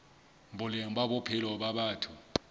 boleng ba bophelo ba batho